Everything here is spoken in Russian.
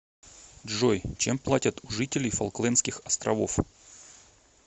джой чем платят у жителей фолклендских островов